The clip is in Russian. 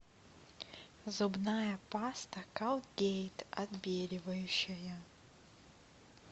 зубная паста колгейт отбеливающая